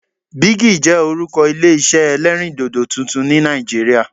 Bigi' jẹ́ orúkọ Ilé isẹ́ ẹlẹ́rìndòdò tuntun ni Nàìjíríà